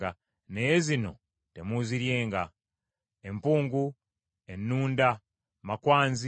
Naye zino temuuziryenga: empungu, ennunda, makwanzi,